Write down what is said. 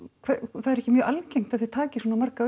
það er ekki mjög algengt að þið takið svona marga